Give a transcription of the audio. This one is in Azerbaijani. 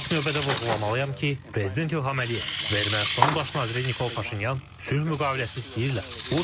İlk növbədə vurğulamalıyam ki, prezident İlham Əliyev və Ermənistanın baş naziri Nikol Paşinyan sülh müqaviləsi istəyirlər.